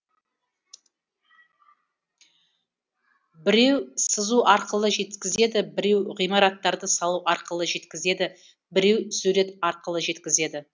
біреу сызу арқылы жеткізеді біреу ғимараттарды салу арқылы жеткізеді біреу сурет арқылы жеткізеді